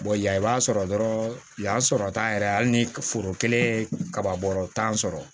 yan i b'a sɔrɔ dɔrɔn yan sɔrɔ tan yɛrɛ hali ni foro kelen ye kaba bɔrɔ tan sɔrɔ